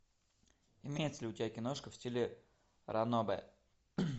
имеется ли у тебя киношка в стиле ранобэ